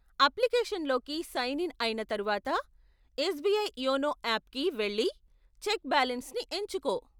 అప్లికేషన్లోకి sign in అయిన తరువాత, SBI YONO ఆప్కి వెళ్లి చెక్ బాలెన్స్ని ఎంచుకో.